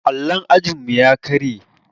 Allon ajinmu ya karye.